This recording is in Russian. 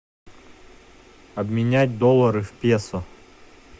обменять доллары в песо